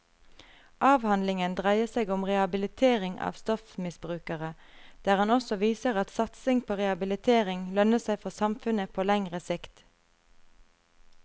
Avhandlingen dreier seg om rehabilitering av stoffmisbrukere, der han også viser at satsingen på rehabilitering lønner seg for samfunnet på lengre sikt.